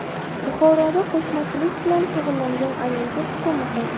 Buxoroda qo‘shmachilik bilan shug‘ullangan ayolga hukm o‘qildi.